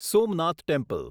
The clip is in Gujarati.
સોમનાથ ટેમ્પલ